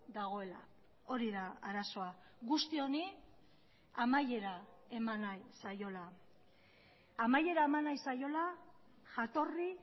dagoela hori da arazoa guzti honi amaiera eman nahi zaiola amaiera eman nahi zaiola jatorri